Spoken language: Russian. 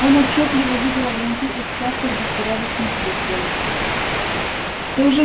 он отчётливо видел огоньки их частых беспорядочных выстрелов